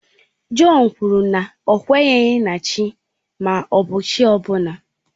Jọn kwuru na ọ kweghị na Chi ma ọ chi ọ bụla.